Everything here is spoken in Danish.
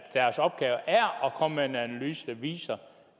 deres opgave er at komme med en analyse der viser